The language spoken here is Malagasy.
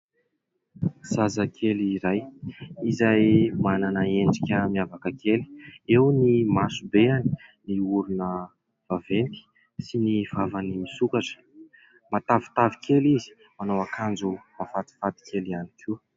Zazakely iray izay manana endrika miavaka kely. Eo ny masobeny, ny orona vaventy sy ny vavany misokatra. Matavitavy kely izy, manao akanjo mahafatifaty kely ihany koa.